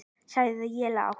sagði ég lágt.